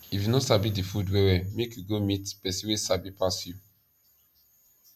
if u no sabi di food well well make u go meet person wey sabi pass u